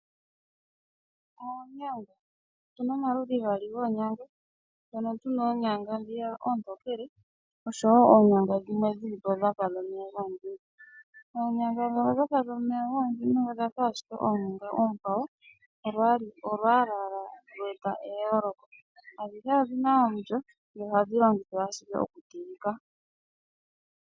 Oonyanga . Opuna omaludhi gaali goonyanga, mpono pena oonyanga oontokele oshowo oonyanga dhimwe dhilipo dhafa omeya gomudhime . Oonyanga ndhono dhafa omeye gomudhime odhafa ashike oonyanga oonkwawo olwaala owala lwe eta eyooloko..Adhihe odhina omulyo dho ohadhi longithwa ashike oku teleka.